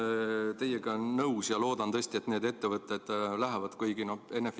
Ma olen teiega nõus ja loodan tõesti, et need ettevõtted lähevad.